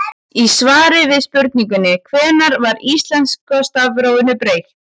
Í svari við spurningunni Hvenær var íslenska stafrófinu breytt?